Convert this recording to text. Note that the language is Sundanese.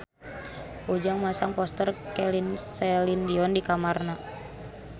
Ujang masang poster Celine Dion di kamarna